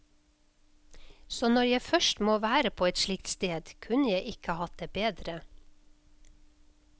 Så når jeg først må være på et slikt sted, kunne jeg ikke hatt det bedre.